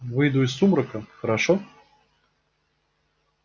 выйду из сумрака хорошо